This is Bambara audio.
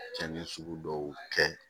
Cɛnni sugu dɔw kɛ